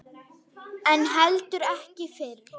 En heldur ekki fyrr.